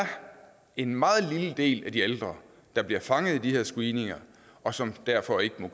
en meget lille del af de ældre der bliver fanget i de her screeninger og som derfor ikke